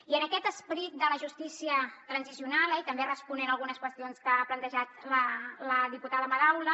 i amb aquest esperit de la justícia transicional i també responent a algunes qüestions que ha plantejat la diputada madaula